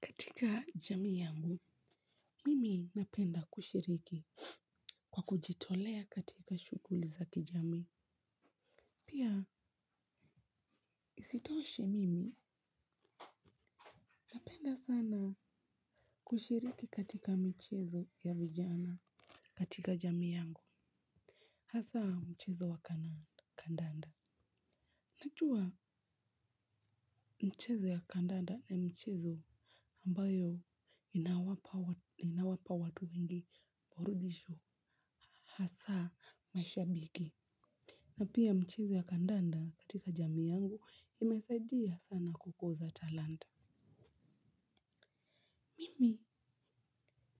Katika jamii yangu, mimi napenda kushiriki kwa kujitolea katika shughuli za kijamii. Pia isitoshe mimi napenda sana kushiriki katika mchezo ya vijana katika jamii yangu. Hasa mchezo wa kandanda. Najua mchezo ya kandanda na mchezo ambayo inawapa watu wengi burudisho hasa mashabiki. Na pia mchezo ya kandanda katika jamii yangu imesaidia sana kukuza talanta. Mimi,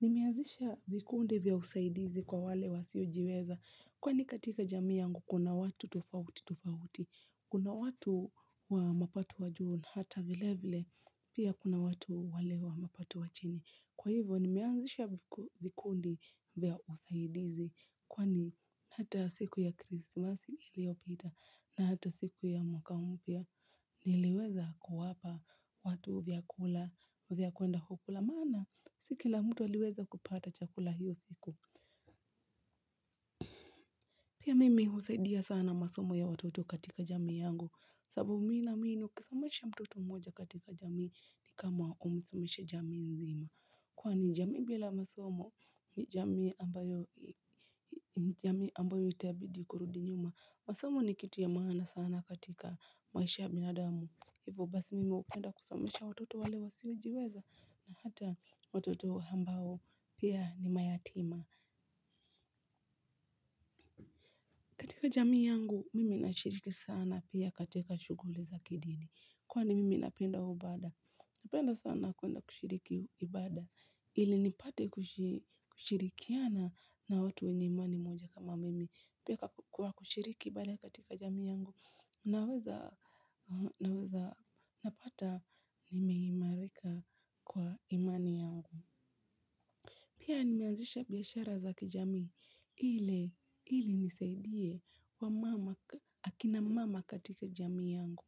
nimeazisha vikundi vya usaidizi kwa wale wasiojiweza. Kwani katika jamii yangu kuna watu tofauti tofauti. Kuna watu wa mapato wa juu na hata vile vile pia kuna watu wale wa mapato wa chini. Kwa hivyo nimeanzisha vikundi vya usaidizi kwani hata siku ya krismasi iliyopita na hata siku ya mwaka mpya niliweza kuwapa watu vyakula vya kwenda kukula maana si kila mtu aliweza kupata chakula hiyo siku. Pia mimi husaidia sana masomo ya watoto katika jamii yangu, sababu mi naamini ukisomesha mtoto mmoja katika jamii ni kama umesomesha jamii nzima. Kwani jamii bila masomo ni jamii ambayo itabidi kurudi nyuma. Masomo ni kitu ya maana sana katika maisha ya binadamu. Hivyo basi mimi hupenda kusomesha watoto wale wasiojiweza na hata watoto ambao pia ni mayatima. Katika jamii yangu, mimi nashiriki sana pia katika shughuli za kidini. Kwani mimi napenda ibada. Napenda sana kuenda kushiriki ibada. Ile nipate kushirikiana na watu wenye imani moja kama mimi. Pia kwa kushiriki ibada katika jamii yangu, naweza napata nimeimarika kwa imani yangu. Pia nimeanzisha biashara za kijami ili nisaidie wamama akina mama katika jamii yangu.